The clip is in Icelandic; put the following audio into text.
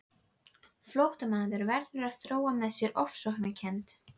Flóttamaður verður að þróa með sér ofsóknarkennd.